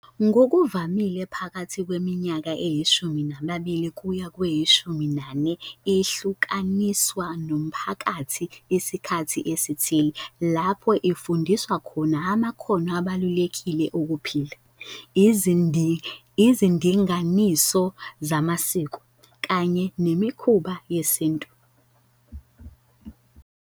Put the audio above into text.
Ngokuvamile phakathi kweminyaka eyishumi nambili kuya kweyishumi nane ihlukaniswa nomphakathi isikhathi esithile, lapho ifundiswa khona amakhono abalulekile okuphila, izindinganiso zamasiko, kanye nemikhuba yesintu